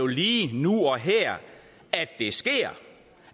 lige nu og her at det sker